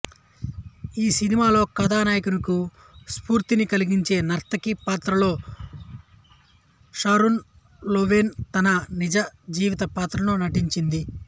ఈ సినిమాలో కథానాయికకు స్ఫూర్తిని కలిగించే నర్తకి పాత్రలో షారన్ లోవెన్ తన నిజ జీవిత పాత్రలో నటించింది